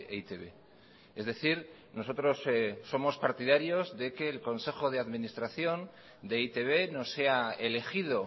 e i te be es decir nosotros somos partidarios de que el consejo de administración de e i te be no sea elegido